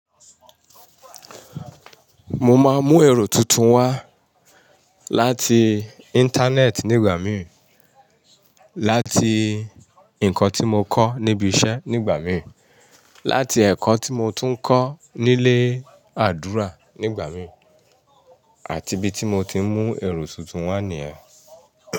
Mo máa ń mú èrò tuntun wá láti Internet nígbà mí, láti nǹkan tí mo kọ́ níbi iṣẹ́ nígbà mí, láti ẹ̀kọ́ tí mo tún ń kọ́ nílé àdúrà nígbà mí àti bí tí mo ti ń mú èrò tuntun wá nìyẹn.